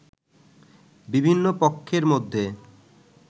বিভিন্ন পক্ষের মধ্যে